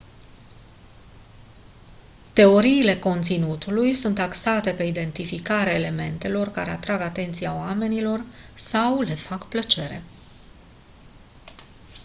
teoriile conținutului sunt axate pe identificarea elementelor care atrag atenția oamenilor sau le fac plăcere